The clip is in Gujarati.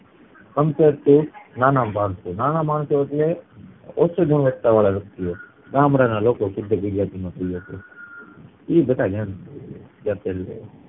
compair to નાના માણસો. નાના માણસો એટલે ઓછી ગુણવત્તા વાળા વ્યક્તિઓ ગામડાના લોકો શુદ્ધ ગુજરાતી માં કય એ તો